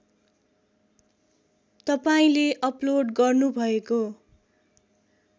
तपाईँले अपलोड गर्नुभएको